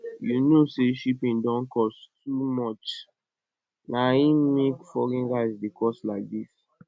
you know say shipping don cost too much na im make foreign rice dey cost like this